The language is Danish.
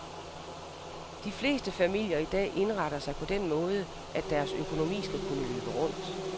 De fleste familier i dag indretter sig på den måde, at deres økonomi skal kunne løbe rundt.